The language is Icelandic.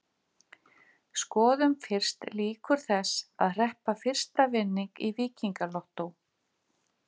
Skoðum fyrst líkur þess að hreppa fyrsta vinning í Víkingalottó.